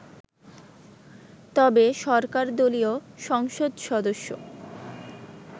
তবে সরকারদলীয় সংসদ সদস্য